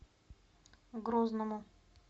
грозному